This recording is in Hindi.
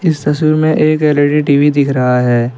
इस तस्वीर में एक एल_ई_डी टी_वी दिख रहा है.